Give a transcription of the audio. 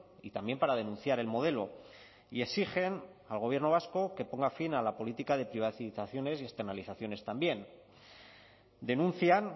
y también para denunciar el modelo y exigen al gobierno vasco que ponga fin a la política de privatizaciones y externalizaciones también denuncian